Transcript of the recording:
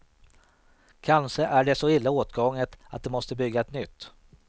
Kanske är det så illa åtgånget att de måste bygga ett nytt.